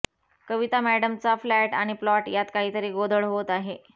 कविता म्याडमचा फ्ल्याट आणि प्लॉट यात काहीतरी गोधळ होतो आहे